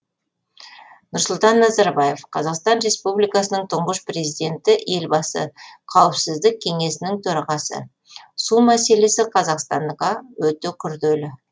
нұрсұлтан назарбаев қазақстан республикасының тұңғыш президенті елбасы қауіпсіздік кеңесінің төрағасы су мәселесі қазақстанға өте күрделі